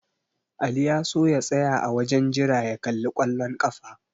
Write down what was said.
Ali ya so ya tsaya a wajen jira ya kalli ƙwallon ƙafa.